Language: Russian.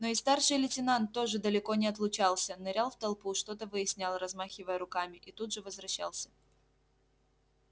но и старший лейтенант тоже далеко не отлучался нырял в толпу что то выяснял размахивая руками и тут же возвращался